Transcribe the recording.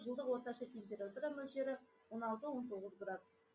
жылдық орташа температура мөлшері он алты он тоғыз градус